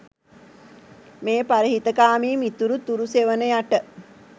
මේ පරහිතකාමී මිතුරු තුරු සෙවණ යට